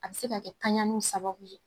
A bɛ se ka kɛ taɲani sababu ye